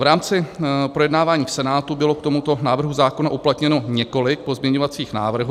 V rámci projednávání v Senátu bylo k tomuto návrhu zákona uplatněno několik pozměňovacích návrhů.